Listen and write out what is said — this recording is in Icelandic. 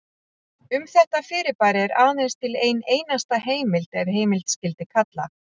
Um þetta fyrirbæri er aðeins til ein einasta heimild ef heimild skyldi kalla.